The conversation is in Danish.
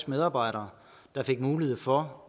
medarbejdere der fik mulighed for